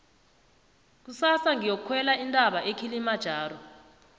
kusasa ngiyokukhwela intaba ekilimajaro